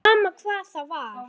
Sama hvað það var.